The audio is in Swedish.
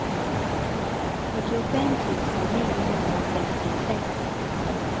fyrtiofem tusen niohundrafemtiosex